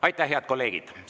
Aitäh, head kolleegid!